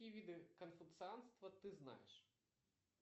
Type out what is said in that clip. какие виды конфуцианства ты знаешь